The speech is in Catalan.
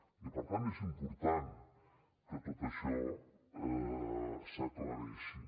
i per tant és important que tot això s’aclareixi